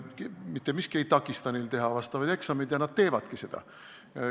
Mitte miski ei takista neil teha neid eksameid ja nad teevadki neid.